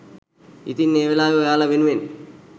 ඉතින් ඒ වෙලාවේ ඔයාලා වෙනුවෙන්